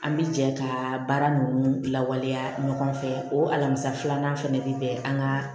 An bi jɛ ka baara ninnu lawaleya ɲɔgɔn fɛ o alamisa filanan fɛnɛ bɛ kɛ an ka